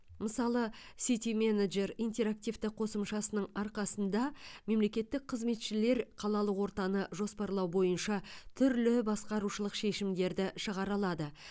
мысалы сити менеджер интерактивті қосымшасының арқасында мемлекеттік қызметшілер қалалық ортаны жоспарлау бойынша түрлі басқарушылық шешімдерді шығара алады